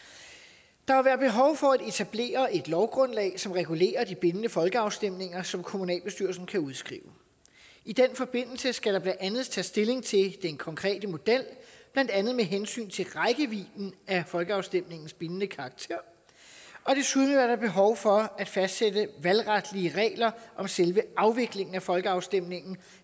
der vil være behov for at etablere et lovgrundlag som regulerer de bindende folkeafstemninger som kommunalbestyrelsen kan udskrive i den forbindelse skal der blandt andet tages stilling til den konkrete model blandt andet med hensyn til rækkevidden af folkeafstemningens bindende karakter og desuden er der behov for at fastsætte valgretlige regler om selve afviklingen af folkeafstemningen